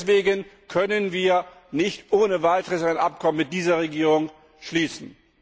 Deswegen können wir nicht ohne Weiteres ein Abkommen mit dieser Regierung schließen.